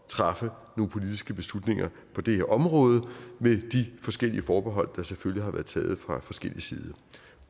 træffe nogle politiske beslutninger på det her område med de forskellige forbehold der selvfølgelig har været taget fra forskellig side